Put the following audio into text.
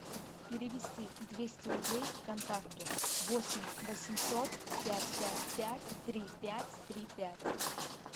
перевести двести рублей контакту восемь восемьсот пять пять пять три пять три пять